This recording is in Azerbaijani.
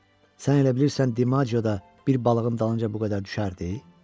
Sən elə bilirsən Dimagio da bir balığın dalınca bu qədər düşərdi?